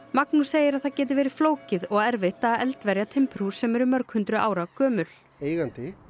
Magnús segir að það geti verið flókið og erfitt að eldverja timburhús sem eru mörg hundruð ára gömul eigandi